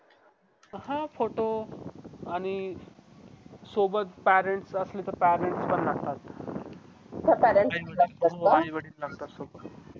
हां photo आणि सोबाबत parents असले तर parents पण लागतात आई वडील लागतात सोबत